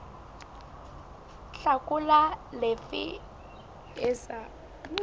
hlakola le efe e sa